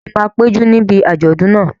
Ṣé o máa péjú níbi àjọ̀dún náà?